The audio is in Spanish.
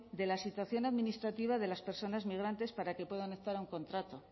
de la situación administrativa de las personas migrantes para que puedan optar a un contrato